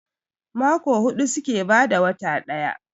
Mako hudu suke bada wata daya